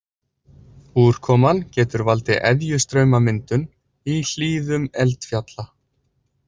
Úrkoman getur valdið eðjustraumamyndun í hlíðum eldfjalla.